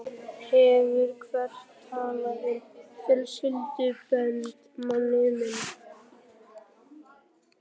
Hefurðu heyrt talað um fjölskyldubönd, manni minn?